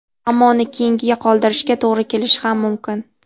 Ammo uni keyinga qoldirishga to‘g‘ri kelishi ham mumkin.